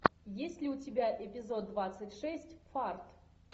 есть ли у тебя эпизод двадцать шесть фарт